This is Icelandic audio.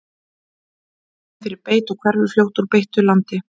hvönn er viðkvæm fyrir beit og hverfur fljótt úr beittu landi